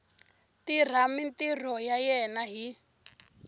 tirha mintirho ya yena hi